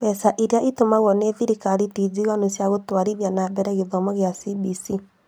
Mbeca iria itũmagwo nĩ thirikari ti njiganu cia gũtwarithia na mbere gĩthomo kĩa CBC